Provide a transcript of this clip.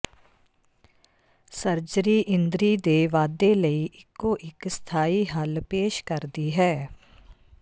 surgery ਇੰਦਰੀ ਦੇ ਵਾਧੇ ਲਈ ਇੱਕੋ ਇੱਕ ਸਥਾਈ ਹੱਲ ਪੇਸ਼ ਕਰਦੀ ਹੈ